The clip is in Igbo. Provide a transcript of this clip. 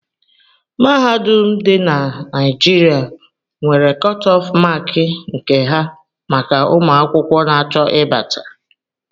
Mahadum ndi dị na Naijiria nwere kotof mááki nke ha maka ụmụ akwụkwọ n'acho ibata